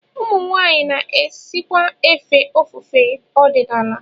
Ụmụnwaanyị na-esikwa efe ofufe ọdịnala